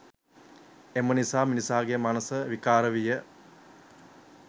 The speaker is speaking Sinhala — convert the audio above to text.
එම නිසා මිනිසාගේ මනස විකාර විය